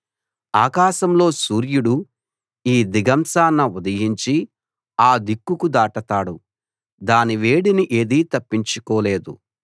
ఆకాశంలో సూర్యుడు ఈ దిగంశాన ఉదయించి ఆ దిక్కుకు దాటతాడు దాని వేడిని ఏదీ తప్పించుకోలేదు